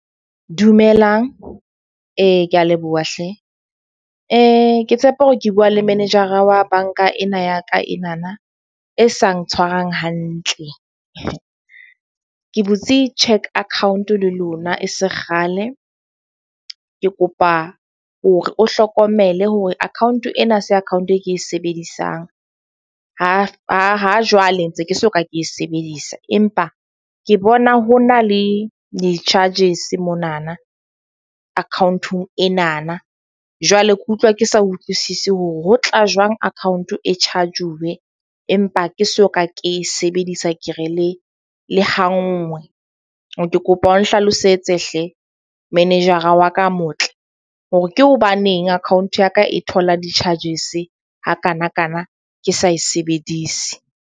Dumelang ke a leboha hle ke tshepa hore ke bua le menejara wa bank-a ena ya ka enana, e sa ntshwarang hantle. Ke butse cheque account le lona e se kgale. Ke kopa hore o hlokomele hore account ena ha se account e ke e sebedisang ha jwale ntse ke soka ke e sebedisa. Empa ke bona ho na le di-charges monana akhaonteng enana. Jwale ke utlwa ke sa utlwisisi hore ho tla jwang account e charge-uwe. Empa ha ke soka ke sebedisa ke re le ha nngwe. Ke kopa o nhlalosetse hle. Menejara wa ka a motle hore ke hobaneng account ya ka e thola di-charges hakanakana, ke sa e sebedise?